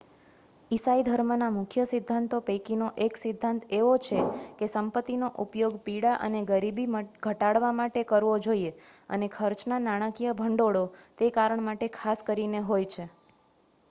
ઈસાઈ ધર્મના મુખ્ય સિદ્ધાંતો પૈકીનો એક સિદ્ધાંત એવો છે કે સંપતિનો ઉપયોગ પીડા અને ગરીબી ઘટાડવા માટે કરવો જોઈએ અને ચર્ચના નાણાકીય ભંડોળો તે કારણ માટે ખાસ કરીને હોય છે